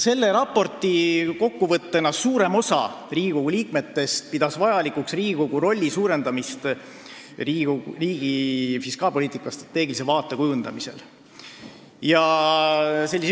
Selle raporti kokkuvõttena võib öelda, et suurem osa Riigikogu liikmetest pidas vajalikuks Riigikogu rolli suurendamist riigi fiskaalpoliitika strateegilise vaate kujundamisel.